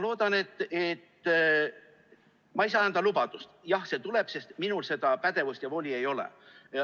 Ma ei saa anda lubadust, et jah, see tuleb, sest minul seda pädevust ja voli ei ole.